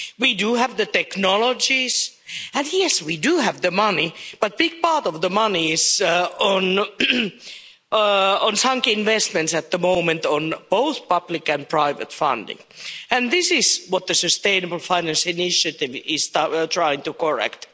We do have the technologies and yes, we do have the money, but a big part of the money is on sunk investments at the moment, on both public and private funding. This is what the sustainable finance initiative is trying to correct.